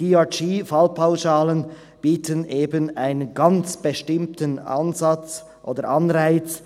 Die DRG-Fallpauschalen bieten eben einen ganz bestimmten Ansatz oder Anreiz.